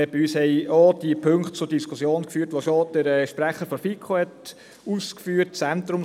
Bei uns haben auch diejenigen Punkte zu Diskussionen geführt, die der Sprecher der FiKo ausgeführt hat.